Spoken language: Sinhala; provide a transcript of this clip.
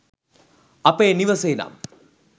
අපේ නිවසේ නම්